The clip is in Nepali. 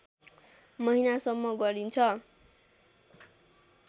महिनासम्म गरिन्छ